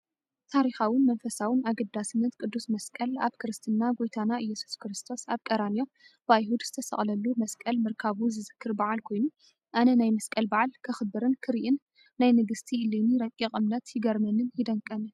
ታሪኻውን መንፈሳውን ኣገዳስነት ቅዱስ መስቀል ኣብ ክርስትና ጐይታና ኢየሱስ ክርስቶስ ኣብ ቀራንዮ ብኣይሁድ ዝተሰቕለሉ መስቀል ምርካቡ ዝዝክር በዓል ኮይኑ፡ ኣነ ናይ መስቀል በዓል ከኽብርን ክሪእን ናይ ንግስቲ ኢሌኒ ረቒቕ እምነት ይገርመንን ይደንቀንን፡፡